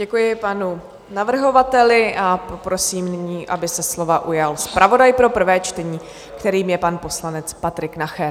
Děkuji panu navrhovateli a poprosím nyní, aby se slova ujal zpravodaj pro prvé čtení, kterým je pan poslanec Patrik Nacher.